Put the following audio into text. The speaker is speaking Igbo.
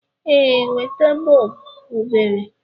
Ee, weta. bọọbụ obere